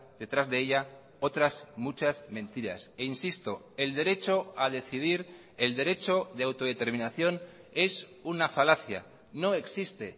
detrás de ella otras muchas mentiras e insisto el derecho a decidir el derecho de autodeterminación es una falacia no existe